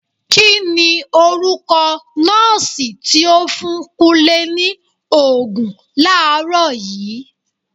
Kini orúkọ nọọsi tí ó fún Kúnlé ni Ògùn làárọ̀ yii?